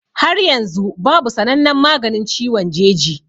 Har yanzu babu sanannen maganin ciwon jeji